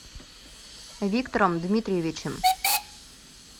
виктором дмитриевичем